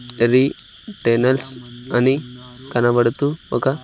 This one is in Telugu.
అది టెనల్స్ అని కనబడుతూ ఒక--